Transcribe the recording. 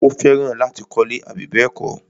Ó fẹ́ràn láti kọ́lẹ́. àbí bẹ́ẹ̀kọ́?